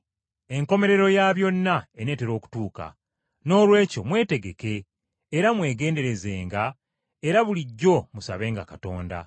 Enkomerero ya byonna eneetera okutuuka. Noolwekyo mwetegeke era mwegenderezenga, era bulijjo musabenga Katonda.